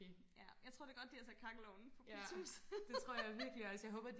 ja jeg tror det er godt de har sat kakkelovnen på politimuseet